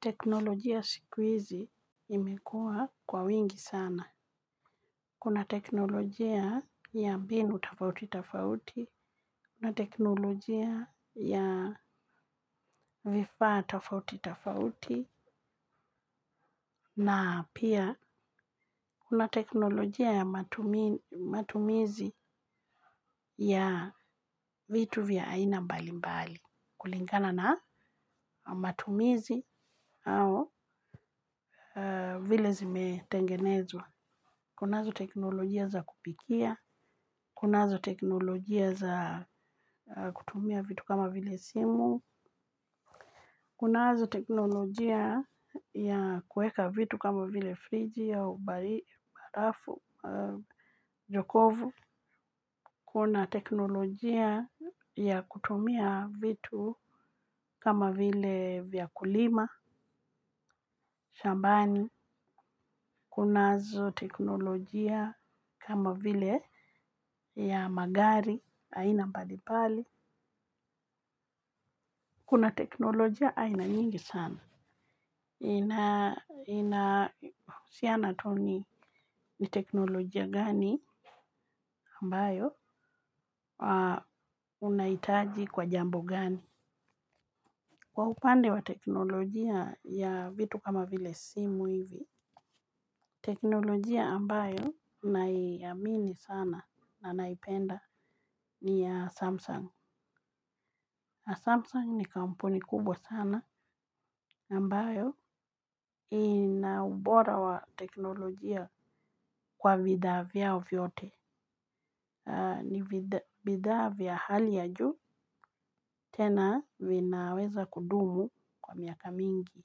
Teknolojia siku izi imekua kwa wingi sana. Kuna teknolojia ya mbinu tafauti tafauti. Kuna teknolojia ya vifaa tafauti tafauti. Na pia, kuna teknolojia ya matumizi ya vitu vya aina mbalimbali. Kulingana na matumizi au vile zimetengenezwa. Kunazo teknolojia za kupikia, kunazo teknolojia za kutumia vitu kama vile simu, kunazo teknolojia ya kueka vitu kama vile friji au barafu, jokovu. Kuna teknolojia ya kutumia vitu kama vile vya kulima, shambani. Kunazo teknolojia kama vile ya magari aina mbalimbali. Kuna teknolojia aina nyingi sana. Swali ni ni teknolojia gani ambayo unaitaji kwa jambo gani. Kwa upande wa teknolojia ya vitu kama vile simu hivi. Teknolojia ambayo naiamini sana na naipenda ni ya Samsung Samsung ni kampuni kubwa sana ambayo ina ubora wa teknolojia kwa vidhaa vyao vyote ni bidhaa vya hali ya juu tena vinaweza kudumu kwa miaka mingi.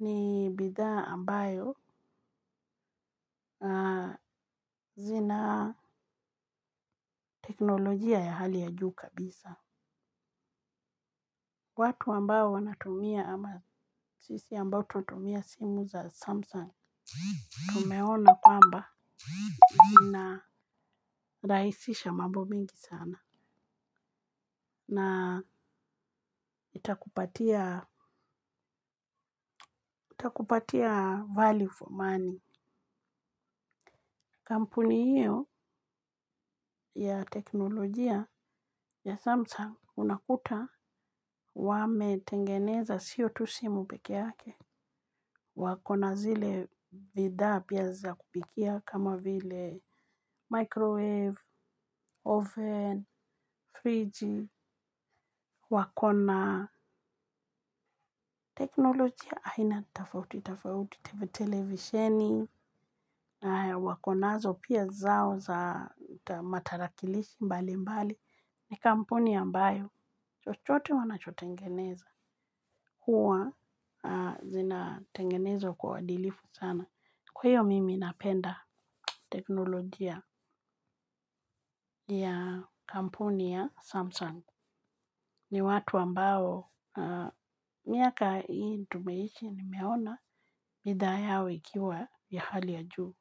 Ni bifhaa ambayo zina teknolojia ya hali ya juu kabisa. Watu ambao wanatumia ama sisi ambao tunatumia simu za Samsung Tumeona kwamba zinarahisisha mambo mengi sana. Na itakupatia value for money. Kampuni hiyo ya teknolojia ya Samsung Unakuta wametengeneza siyo tu simu peke yake. Wakona zile bidhaa pia za kupikia kama vile microwave, oven, fridge. Wakona teknolojia aina tafauti, tafauti TV televisioni. Wakonazo pia zao za matarakilishi mbali mbali. Ni kampuni ambayo, chochote wanachotengeneza. Huwa zinatengenezwa kwa uadilifu sana. Kwa hiyo mimi napenda teknologia ya kampuni ya samsung ni watu ambao kwa miaka hii ambayo tumeishi nimeona bidhaa yao ikiwa ya hali ya juu.